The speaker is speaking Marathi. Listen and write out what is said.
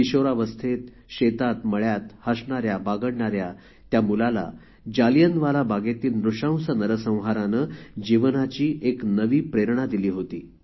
किशोरावस्थेत शेतात मळ्यात हसणाऱ्या बागडणाऱ्या त्या मुलाला जालियनवाला बागेतील नृशंस नरसंहाराने जीवनाची एक नवी प्रेरणा दिली होती